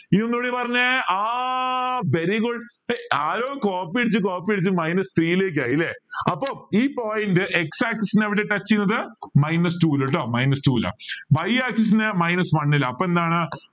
ഇനി ഒന്നൂടെ പറഞ്ഞെ ആ very good ഹേയ് ആരോ copy അടിച്ച് copy അടിച്ച് minus c ലേക്ക് ആയില്ലേ അപ്പൊ ഈ point x axis നെ എവിടെയാ touch ചെയ്യുന്നേ minus two ലെട്ട minus two ൽ y axis ന് minus one ൽ അപ്പൊ എന്താണ്